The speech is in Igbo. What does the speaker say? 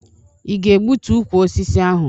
I ga-egbutu ukwu osisi ahụ?